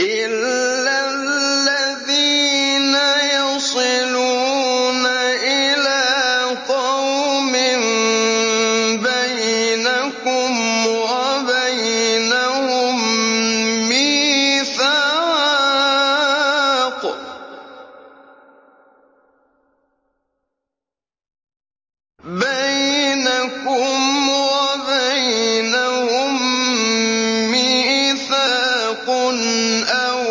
إِلَّا الَّذِينَ يَصِلُونَ إِلَىٰ قَوْمٍ بَيْنَكُمْ وَبَيْنَهُم مِّيثَاقٌ أَوْ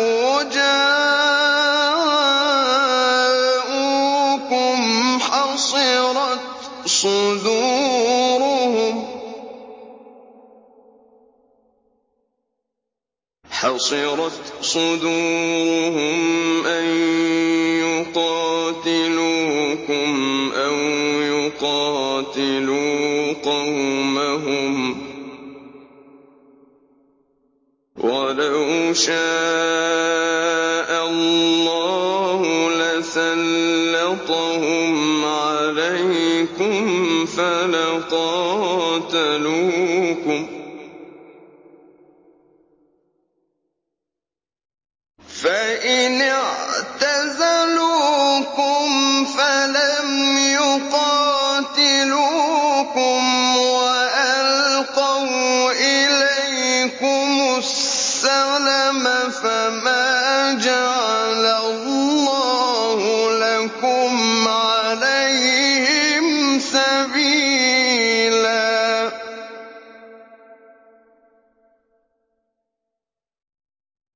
جَاءُوكُمْ حَصِرَتْ صُدُورُهُمْ أَن يُقَاتِلُوكُمْ أَوْ يُقَاتِلُوا قَوْمَهُمْ ۚ وَلَوْ شَاءَ اللَّهُ لَسَلَّطَهُمْ عَلَيْكُمْ فَلَقَاتَلُوكُمْ ۚ فَإِنِ اعْتَزَلُوكُمْ فَلَمْ يُقَاتِلُوكُمْ وَأَلْقَوْا إِلَيْكُمُ السَّلَمَ فَمَا جَعَلَ اللَّهُ لَكُمْ عَلَيْهِمْ سَبِيلًا